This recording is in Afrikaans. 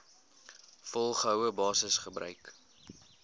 volgehoue basis gebruik